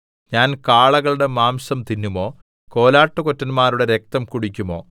ഞാൻ കാളകളുടെ മാംസം തിന്നുമോ കോലാട്ടുകൊറ്റന്മാരുടെ രക്തം കുടിക്കുമോ